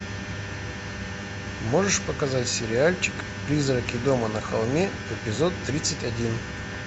можешь показать сериальчик призраки дома на холме эпизод тридцать один